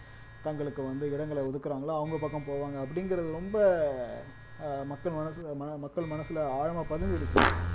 தங்களுக்கு வந்து இடங்களை ஒதுக்குறாங்களோ அவங்க பக்கம் போவாங்க அப்படிங்கிறது ரொம்ப அஹ் மக்கள் மனசுல ம மக்கள் மனசுல ஆழமா பதிஞ்சிடுச்சு